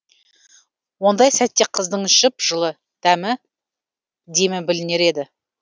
ондай сәтте қыздың жып жылы демі білінер еді